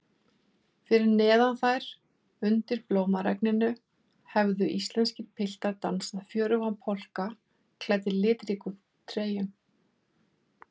Fyrir neðan þær, undir blómaregninu, hefðu íslenskir piltar dansað fjörugan polka, klæddir litríkum treyjum.